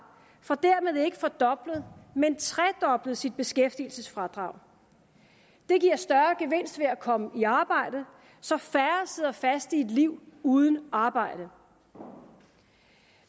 får dermed ikke fordoblet men tredoblet sit beskæftigelsesfradrag det giver større gevinst ved at komme i arbejde så færre sidder fast i et liv uden arbejde